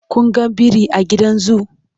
Kun ga biri a gidan zoo?